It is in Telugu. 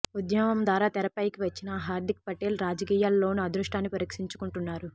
ఉద్యమం ద్వారా తెరపైకి వచ్చిన హార్దిక్ పటేల్ రాజకీయాల్లోనూ అదృ ష్టాన్ని పరీక్షిం చుకుంటున్నారు